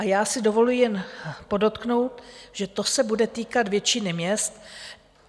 A já si dovoluji jen podotknout, že to se bude týkat většiny měst.